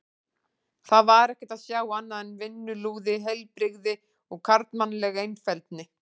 Þar var ekkert að sjá annað en vinnulúið heilbrigði og karlmannlega einfeldni.